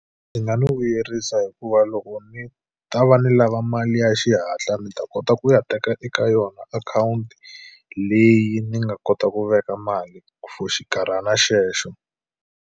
Ndzi nga ni vuyerisa hikuva loko ni ta va ni lava mali ya xihatla ni ta kota ku ya teka eka yona akhawunti leyi ni nga kota ku veka mali for xinkarhana xexo.